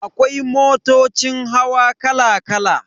Akwai motocin hawa kala kala.